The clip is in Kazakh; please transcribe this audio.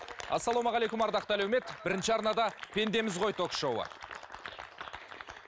ассалаумағалейкум ардақты әлеумет бірінші арнада пендеміз ғой ток шоуы